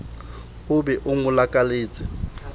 o be o mo lakaletse